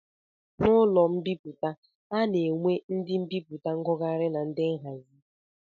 N'ụlọ mbipụta, a na-enwe ndị mbipụta, ngụgharị na ndị nhazi